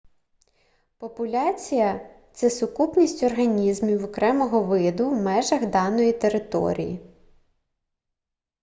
популяція це сукупність організмів окремого виду в межах даної території